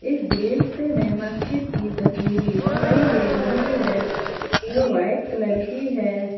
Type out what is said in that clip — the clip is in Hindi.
इस दृश्य में मस्जिद की तस्वीर दिखाई दे रही है जो वाइट कलर की है।